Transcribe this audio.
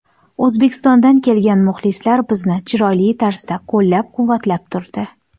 O‘zbekistondan kelgan muxlislar bizni chiroyli tarzda qo‘llab-quvvatlab turdi.